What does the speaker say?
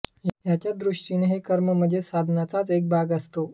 त्यांच्या दृष्टीने हे कर्म म्हणजे साधनेचाच एक भाग असतो